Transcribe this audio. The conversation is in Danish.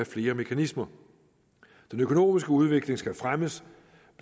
flere mekanismer den økonomiske udvikling skal fremmes